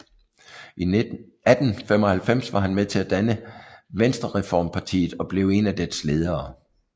I 1895 var han med til at danne Venstrereformpartiet og blev én af dets ledere